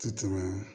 Ti tɛmɛ